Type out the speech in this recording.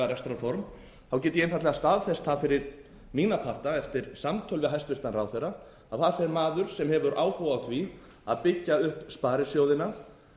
rekstrarform get ég einfaldlega staðfest það fyrir mína parta eftir samtöl við hæstvirtan ráðherra að þar fer maður sem hefur áhuga á því að byggja upp sparisjóðina